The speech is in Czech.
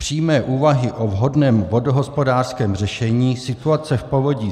Přímé úvahy o vhodném vodohospodářském řešení situace v povodí